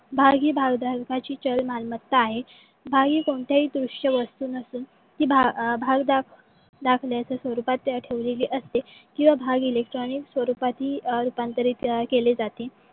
भाग ही भागधरकांची चरण मालमत्ता आहे. भाग ही कोणतीही दृश्य वस्तु नसून ती भाग दाखवण्याच्या स्वरूपात ती ठेवलेली असती. किवा भाग electronic स्वरूपातील रूपांतरित केले जाते.